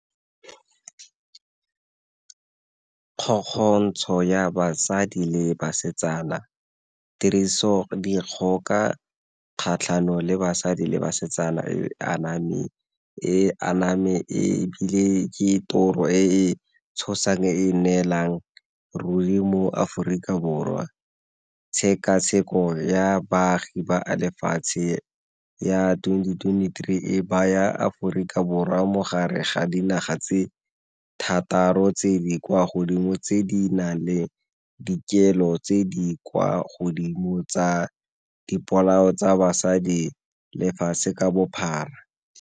ya basadi le basetsana, tirisodikgoka kgatlhanong le basadi le basetsana e aname ebile ke toro e tshosang e e nnelang ruri mo Aforika Borwa. Tshekatsheko ya baagi ba lefatshe ya twenty twenty-three e baya Aforika Borwa mo gare ga dinaga tse thataro tse di kwa godimo tse di nang le dikelo tse di kwa godimo tsa dipolao tsa basadi lefatshe ka bophara.